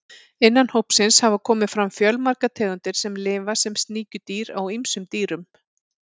Innan hópsins hafa komið fram fjölmargar tegundir sem lifa sem sníkjudýr á ýmsum dýrum.